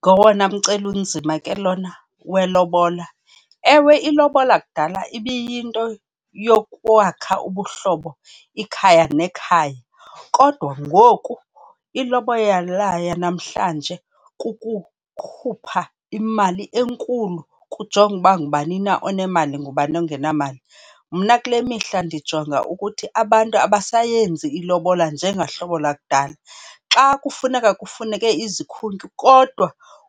Ngowona mceli unzima ke lona welobola. Ewe ilobola kudala ibiyinto yokwakha ubuhlobo ikhaya nekhaya kodwa ngoku ilobola yanamhlanje kukukhupha imali enkulu, kujongwe uba ngubani na onemali ngubani ongenamali. Mna kule mihla ndijonga ukuthi abantu abasayenzi ilobola njengohlobo lakudala. Xa kufuneka kufuneke izikhuntyu kodwa